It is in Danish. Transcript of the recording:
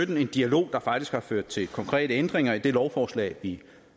det er en dialog der faktisk har ført til konkrete ændringer i det lovforslag vi